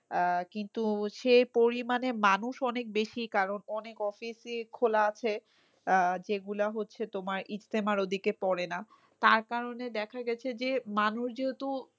আহ কিন্তু সে পরিমানে মানুষ অনেক বেশি কারণ অনেক office ই খোলা আছে। আহ যে গুলা হচ্ছে তোমার ইক্তেমার ওদিকে পরে না। তার কারণে দেখা গেছে যে মানুষ যেহেতু